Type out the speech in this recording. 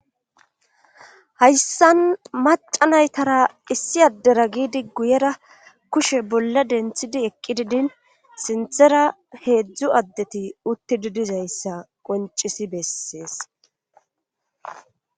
hayssan maca naytara issi addera giidi guyera kushe bolla denthidi eqqi didin sinthera heedzdzu addeti uttidi dizayssa qoncisi bessees